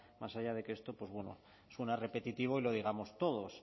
más allá de que esto pues bueno suena repetitivo y lo digamos todos